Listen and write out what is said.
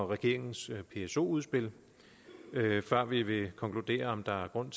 regeringens pso udspil før vi vil konkludere om der er grund